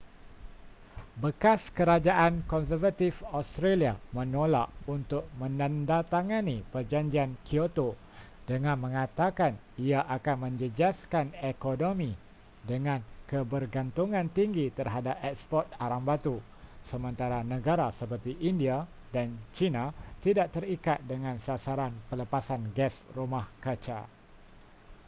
bekas kerajaan konservatif australia menolak untuk menandatangani perjanjian kyoto dengan mengatakan ia akan menjejaskan ekonomi dengan kebergantungan tinggi terhadap eksport arang batu sementara negara seperti india dan china tidak terikat dengan sasaran pelepasan gas rumah kaca